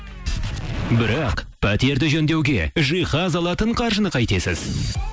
бірақ пәтерді жөндеуге жиһаз алатын қаржыны қайтесіз